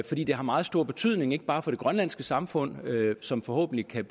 fordi det har meget stor betydning ikke bare for det grønlandske samfund som forhåbentlig kan